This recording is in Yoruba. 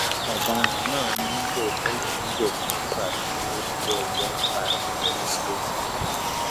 ọdaràn náà ni lóòótọ lòún jẹbi nígbà tílẹẹjọ ka ẹsùn rẹ sí i létí